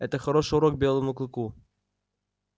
это хороший урок белому клыку